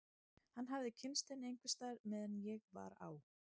Hann hafði kynnst henni einhvers staðar meðan ég var á